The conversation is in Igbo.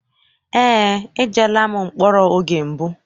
Eé, ejeela m mkpọrọ oge mbụ.